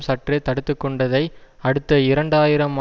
சற்றே தடுத்து கொண்டதை அடுத்து இரண்டு ஆயிரம்